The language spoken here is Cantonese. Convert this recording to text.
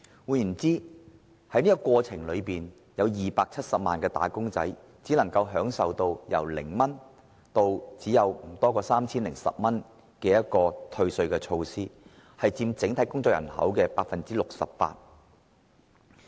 換言之，有270萬名"打工仔"只能得到0元至 3,010 元的稅款寬減，佔整體工作人口 68%。